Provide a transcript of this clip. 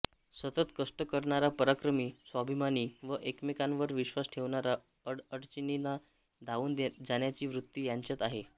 सतत कष्ट करणारा पराक्रमी स्वाभिमानी व एकमेकांवर विश्वास ठेवणारा अडीअडचणींना धावून जाण्याची वृत्ती त्यांच्यात आहे